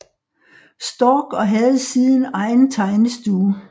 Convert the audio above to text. Storck og havde siden egen tegnestue